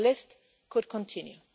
And the list could continue.